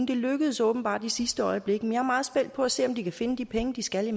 det lykkedes åbenbart i sidste øjeblik men jeg er meget spændt på at se om de kan finde de penge de skal